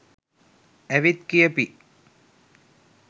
ඇවිත් කියපි